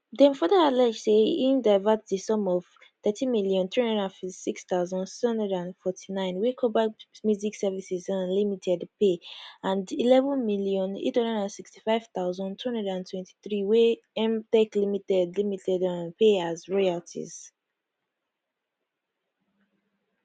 dem further allege say im divert di sum of 13356649 wey kobalt music services um limited pay and 11865223 wey mtech limited limited um pay as royalties